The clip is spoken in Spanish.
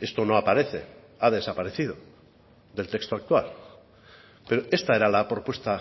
esto no aparece ha desaparecido del texto actual pero esta era la propuesta